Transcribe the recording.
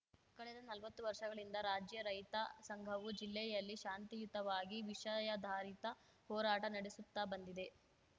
ಕಳೆದ ನಲ್ವತ್ತು ವರ್ಷಗಳಿಂದ ರಾಜ್ಯ ರೈತ ಸಂಘವು ಜಿಲ್ಲೆಯಲ್ಲಿ ಶಾಂತಿಯುತವಾಗಿ ವಿಷಯಾಧಾರಿತ ಹೋರಾಟ ನಡೆಸುತ್ತಾ ಬಂದಿದೆ